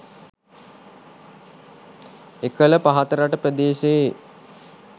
එකළ පහතරට ප්‍රදේශයේ